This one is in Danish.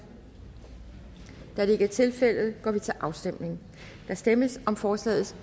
da det ikke er tilfældet går vi til afstemning der stemmes om forslagets